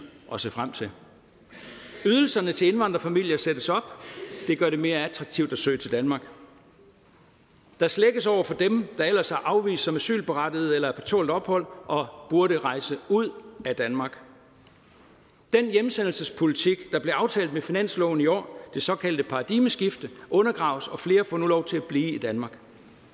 at se frem til ydelserne til indvandrerfamilier sættes op det gør det mere attraktivt at søge til danmark der slækkes over for dem der ellers er afvist som asylberettigede eller på tålt ophold og burde rejse ud af danmark den hjemsendelsespolitik der blev aftalt med finansloven i år det såkaldte paradigmeskifte undergraves og flere får nu lov til at blive i danmark